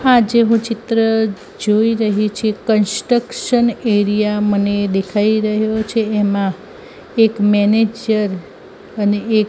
આ જેવું ચિત્ર જોય રહી છે કન્સ્ટકશન એરિયા મને દેખાય રહ્યો છે એમા એક મેનેજર અને એક--